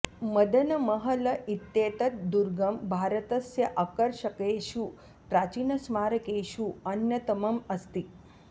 मदन महल इत्येतत् दुर्गं भारतस्य आकर्षकेषु प्राचीनस्मारकेषु अन्यतमम् अस्ति